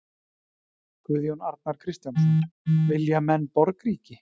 Guðjón Arnar Kristjánsson: Vilja menn borgríki?